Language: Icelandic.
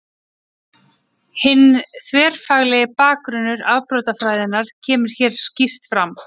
Hinn þverfaglegi bakgrunnur afbrotafræðinnar kemur hér skýrt fram.